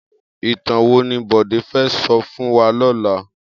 Itán wó ni Bode fè sò fún wà lòlá?